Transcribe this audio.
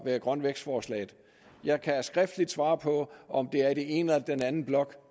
med grøn vækst forslaget jeg kan skriftligt svare på om det er i den ene eller den anden blok